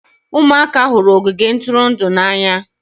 Ụmụaka hụrụ ogige ntụrụndụ n'anya